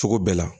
Cogo bɛɛ la